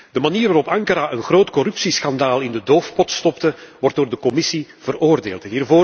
De manier waarop Ankara een groot corruptieschandaal in de doofpot stopte, wordt door de Commissie hevig veroordeeld.